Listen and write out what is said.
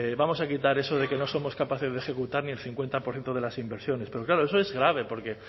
vamos a quitar eso de que no somos capaces de ejecutar ni el cincuenta por ciento de las inversiones pero claro eso es grave porque